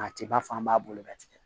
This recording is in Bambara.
A tɛ b'a fɔ an b'a boloda tigɛ